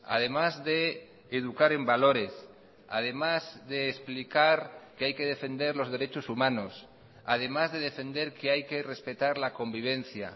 además de educar en valores además de explicar que hay que defender los derechos humanos además de defender que hay que respetar la convivencia